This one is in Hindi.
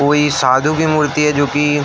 कोई साधु की मूर्ति है जो कि --